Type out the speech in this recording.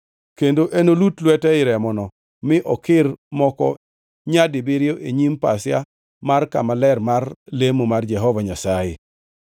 Kendo enolut lwete ei remono, mi okir moko nyadibiriyo e nyim pasia mar kama ler mar lemo mar Jehova Nyasaye.